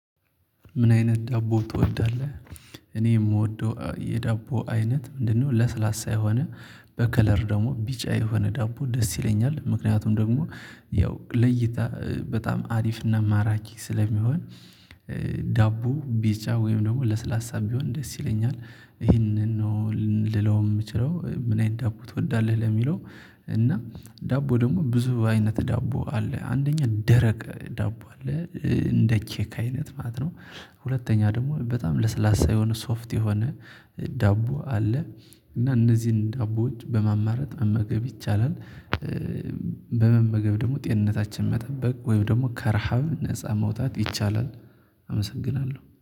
ምን አይነት ዳቦ ትወዳለህ? እኔ የምወደው የዳቦ አይነት ምንድነው? ለስላሳ የሆነ በከለር ደግሞ ቢጫ የሆነ ዳቦ ደስ ይለኛል ምክንያቱም ደግሞ ያው ለእይታ በጣም አሪፍና ማራኪ ስለሚሆን። ዳቦ ቢጫ ወይም ደግሞ ለስላሳ ቢሆን ደስ ይለኛል ይሄንን ነው ልለው የምችለው ምን አይነት ዳቦ ትወዳለህ ለሚለው? እና ዳቦ ደግሞ ብዙ አይነት ዳቦ አለ አንደኛ ደረቅ ዳቦ አለ እንደ ኬክ አይነት ማለት ነው። ሁለተኛ ደግሞ በጣም ለስላሳ የሆነ ሶፍት የሆነ ዳቦ አለ። እና እነዚህን ዳቦዎች በማማረጥ መመገብ ይቻላል። በመመገብ ደግሞ ጤንነታችን መጠበቅ ወይም ደግሞ ከረሃብ ነፃ መውጣት ይቻላል። አመሰግናለሁ